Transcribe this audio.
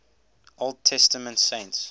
old testament saints